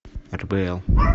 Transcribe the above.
рбл